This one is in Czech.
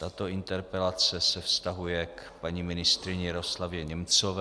Tato interpelace se vztahuje k paní ministryni Jaroslavě Němcové.